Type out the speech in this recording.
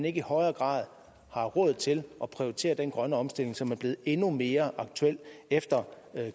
ikke i højere grad har råd til at prioritere den grønne omstilling som er blevet endnu mere aktuel efter